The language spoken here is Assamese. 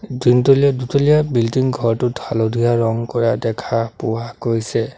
তিনতলীয়া দুতলীয়া বিল্ডিং ঘৰটোত হালধীয়া ৰং কৰা দেখা পোৱা গৈছে।